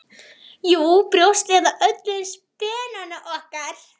Jú, brjóst eða öllu heldur spenana okkar.